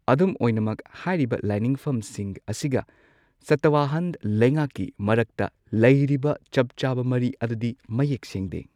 ꯑꯗꯨꯝ ꯑꯣꯏꯅꯃꯛ, ꯍꯥꯏꯔꯤꯕ ꯂꯥꯏꯅꯤꯡꯐꯝꯁꯤꯡ ꯑꯁꯤꯒ ꯁꯇꯋꯍꯥꯟ ꯂꯩꯉꯥꯛꯀꯤ ꯃꯔꯛꯇ ꯂꯩꯔꯤꯕ ꯆꯞ ꯆꯥꯕ ꯃꯔꯤ ꯑꯗꯨꯗꯤ ꯃꯌꯦꯛ ꯁꯦꯡꯗꯦ꯫